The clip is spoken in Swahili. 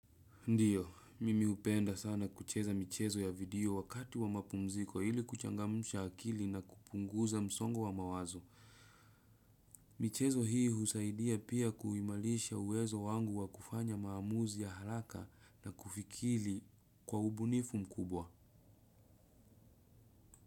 Ndiyo, mimi hupenda sana kucheza michezo ya video wakati wa mapumziko ili kuchangamusha akili na kupunguza msongo wa mawazo. Michezo hii husaidia pia kuimalisha uwezo wangu wa kufanya maamuzi ya haraka na kufikiri kwa ubunifu mkubwa.